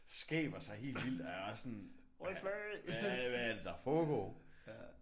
Skaber sig helt vildt og jeg er også sådan hvad hvad er det der foregår